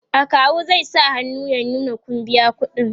akawu zai sa hannu ya nuna Kun biya ƙuɗi